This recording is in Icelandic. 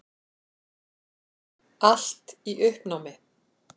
Allt í uppnámi.